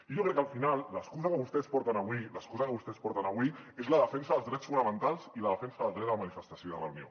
i jo crec que al final l’excusa que vostès porten avui l’excusa que vostès porten avui és la defensa dels drets fonamentals i la defensa del dret a la manifestació i de reunió